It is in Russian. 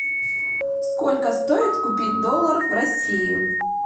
сколько стоит купить доллар в россии